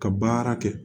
Ka baara kɛ